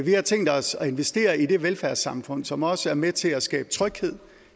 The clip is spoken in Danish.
vi har tænkt os at investere i det velfærdssamfund som også er med til at skabe tryghed